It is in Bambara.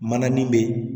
Manani bɛ yen